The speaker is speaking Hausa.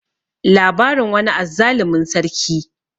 labarin wani azzalumin sarki